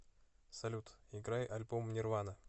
салют играй альбом нирвана